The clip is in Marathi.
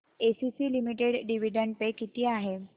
एसीसी लिमिटेड डिविडंड पे किती आहे